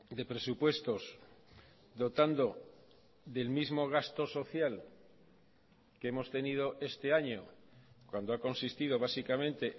de presupuestos dotando del mismo gasto social que hemos tenido este año cuando ha consistido básicamente